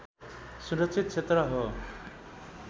सुरक्षित क्षेत्र हो